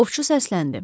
Ovçu səsləndi.